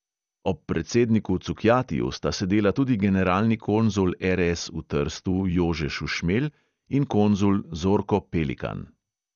Ob predsedniku cukjatiju sta sedela tudi generalni konzul er|es v trstu jože šušmelj in konzul zorko pelikan.